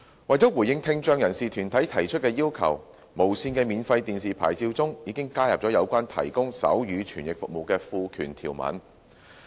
為了回應聽障人士團體提出的要求，無綫的免費電視牌照中已加入有關提供手語傳譯服務的賦權條文。